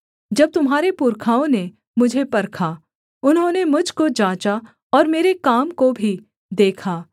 जब तुम्हारे पुरखाओं ने मुझे परखा उन्होंने मुझ को जाँचा और मेरे काम को भी देखा